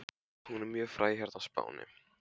Hún er mjög fræg hérna á Spáni.